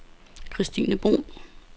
Kirstine Bruun